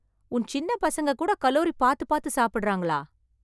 உன் சின்ன பசங்க கூட கலோரி பாத்து பாத்து சாப்டறாங்களா...